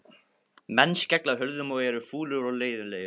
Menn skella hurðum og eru fúlir og leiðinlegir.